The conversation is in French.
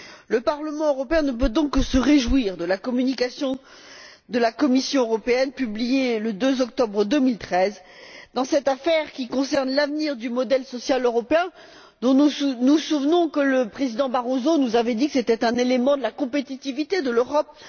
Le Parlement européen ne peut donc que se réjouir de la communication de la Commission européenne, publiée le 2 octobre 2013, dans cette affaire qui concerne l'avenir du modèle social européen, dont nous nous en souvenons le Président Barroso nous avait dit qu'il s'agissait d'un élément de la compétitivité de l'Europe.